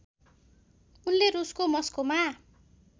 उनले रुसको मस्कोमा